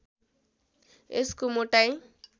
यसको मोटाइ